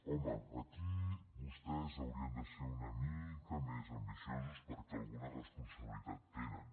home aquí vostès haurien de ser una mica més ambiciosos perquè alguna responsabilitat hi tenen